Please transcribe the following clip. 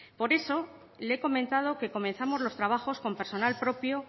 por eso le he comentado que comenzamos los trabajos con personal propio